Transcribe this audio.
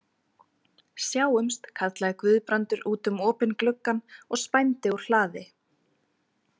Sjáumst, kallaði Guðbrandur út um opinn gluggann og spændi úr hlaði.